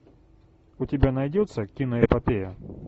у тебя найдется кино эпопея